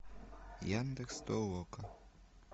яндекс толока